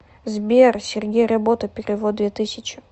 сбер сергей работа перевод две тысячи